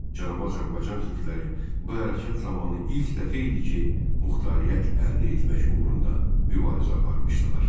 Cənubi Azərbaycan türkləri bu hərəkət zamanı ilk dəfə idi ki, muxtariyyət əldə etmək uğrunda mübarizə aparmışdılar.